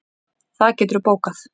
Það geturðu bókað.